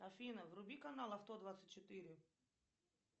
афина вруби канал авто двадцать четыре